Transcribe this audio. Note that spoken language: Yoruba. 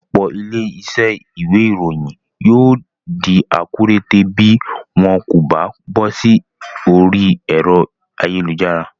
Òpò ilé isé ìwé ìròyìn yio dí akúrẹtẹ̀ bi wón kò ba bósí orí èro ayélujára